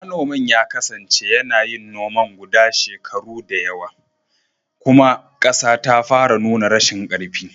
Manomin ya kasance yana yin noman guda shekaru da yawa, kuma ƙasa ta fara nuna rashin ƙarfi.